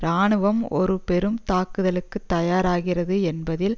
இராணுவம் ஒரு பெரும் தாக்குதலுக்கு தயாராகிறது என்பதில்